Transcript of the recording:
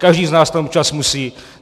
Každý z nás tam občas musí.